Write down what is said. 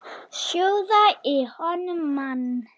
Sjóða í honum mann!